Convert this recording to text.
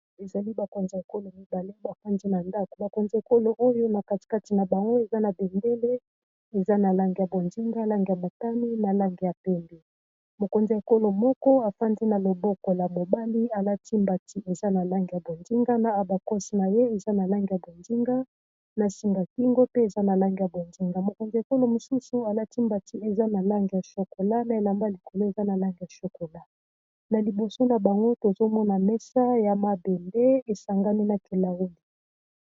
Ezali bakonzi ya ekolo mibale bafandi na ndako, bakonza ekolo oyo na katikati na bango eza na bendele, eza na langi ya bonzinga, langi ya matane na langi ya pembe, mokonzi ekolo moko afandi na loboko ya mobali alati mbati eza na lange ya bonzinga, na abakosi na ye eza na langi ya bonzinga, na singakingo pe eza na lange ya bonzinga, mokonzi ekolo mosusu alati mbati eza na langi ya shokola na elamba likolo eza na langi ya shokola na liboso na bango tozomona mesa ya mabende esangami na vitre,